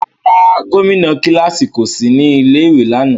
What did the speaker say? Rárá, gomina kilasi ko si ni ilé ìwé lánà.